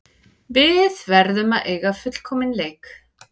Við verðum að eiga fullkominn leik